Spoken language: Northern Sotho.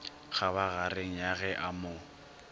kgabagareng ya ge a mo